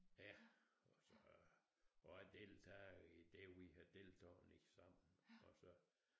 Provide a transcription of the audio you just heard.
Ja og så og jeg deltager i det vi har deltaget i sammen og så